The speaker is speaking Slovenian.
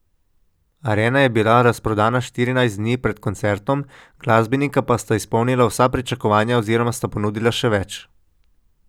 Arena je bila razprodana štirinajst dni pred koncertom, glasbenika pa sta izpolnila vsa pričakovanja oziroma sta ponudila še več.